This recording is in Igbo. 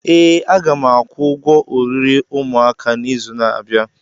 Ee, a ga m akwụ ụgwọ oriri ụmụaka n'izu na-abịa.